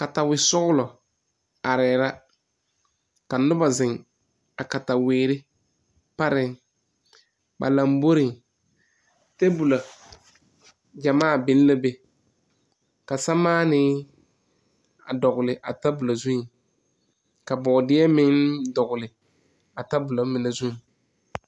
Katawesɔglɔ arɛɛ la ka noba ziŋ a pareŋ. A noba laŋboreŋ, tabolla yaga biŋlaa be ka sɛlmaanēē dɔgle a zu, bɔɔdeɛ meŋ dɔgle la a tabolla mine zu.